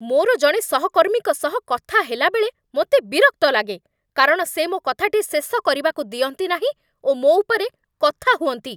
ମୋର ଜଣେ ସହକର୍ମୀଙ୍କ ସହ କଥା ହେଲାବେଳେ ମୋତେ ବିରକ୍ତ ଲାଗେ, କାରଣ ସେ ମୋ କଥାଟି ଶେଷ କରିବାକୁ ଦିଅନ୍ତି ନାହିଁ ଓ ମୋ ଉପରେ କଥା ହୁଅନ୍ତି।